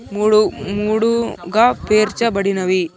మూడు మూడు గా పేర్చబడినవి.